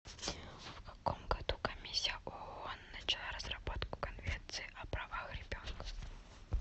в каком году комиссия оон начала разработку конвенции о правах ребенка